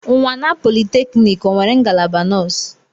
Unwana polytechnic o nwere ngalaba nọọsụ?